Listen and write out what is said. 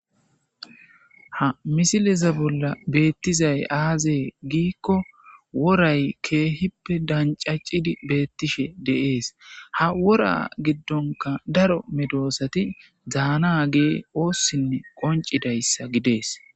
Ha misileza bolla beettizay aazee giikko woray keehippe dancaccidi beettishe deees ha wora giddonka daro medoosati dzaana gee oossinne qoncidayssa gidees.